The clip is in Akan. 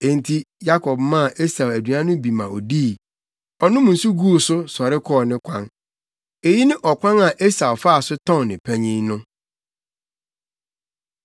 Enti Yakob maa Esau aduan no bi ma odii. Ɔnom nsu guu so, sɔre kɔɔ ne kwan. Eyi ne ɔkwan a Esau faa so tɔn ne panyin no.